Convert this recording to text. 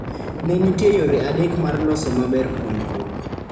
Ne nitiere yore adek mar losos maber puonjruok